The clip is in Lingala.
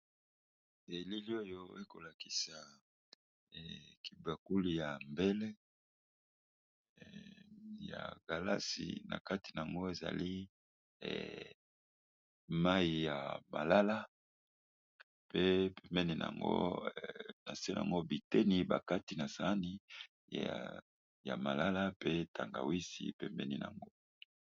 Elili oyo ekolakisa kibakuli ya mbele ya galasi. Na kati na yango ezali mai ya malala. Pe pemeni na ngo na se na ngo biteni ba kati na sani ya malala. Pe tangawisi pembeni nango.